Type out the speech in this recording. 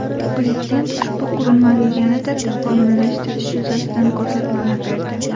Prezident ushbu qurilmani yanada takomillashtirish yuzasidan ko‘rsatmalar berdi.